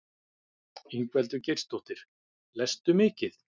Ingveldur Geirsdóttir: Lestu mikið?